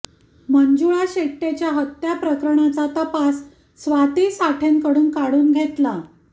मंजुळा शेट्येच्या हत्या प्रकरणाचा तपास स्वाती साठेंकडून काढून घेतला